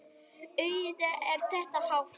Auðvitað er þetta háð.